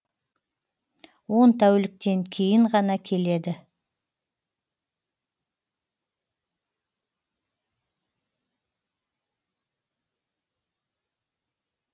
он тәуліктен кейін ғана келеді